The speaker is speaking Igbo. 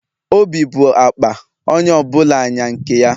Obi bụ akpa, onye ọ bụla nya nke ya